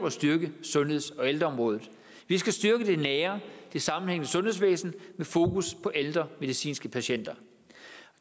at styrke sundheds og ældreområdet vi skal styrke det nære og det sammenhængende sundhedsvæsen med fokus på ældre medicinske patienter